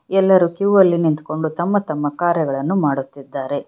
ಎಲ್ಲರೂ ಕ್ಯೂ ಅಲ್ಲಿ ನಿಂತುಕೊಂಡು ತಮ್ಮ ತಮ್ಮ ಕಾರ್ಯಗಳನ್ನು ಮಾಡುತ್ತಿದ್ದಾರೆ.